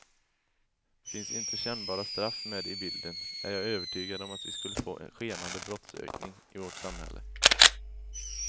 Finns inte kännbara straff med i bilden är jag övertygad om att vi skulle få en skenande brottsökning i vårt samhälle.